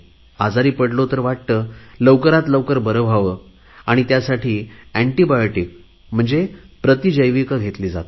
आजारी पडलो तर वाटते लवकरात लवकर बरे व्हावे आणि त्यासाठी एन्टीबायोटिक म्हणजे प्रतिजैविक घेतली जातात